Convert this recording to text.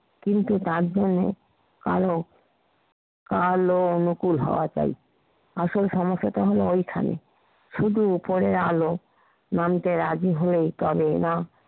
কিন্তু তার জন্যে কালো কালো অনুকুল হওয়া চাই। আসল সমস্যাটা হলো, ঐখানে শুধু ওপরের আলো নামতে রাজি হয় তবে না